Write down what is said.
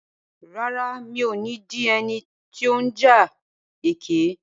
Rárá, mi ò ní di ẹni tí ó ń ja ẹkẹ.